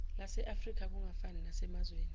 laseafrika kungafani nasemazweni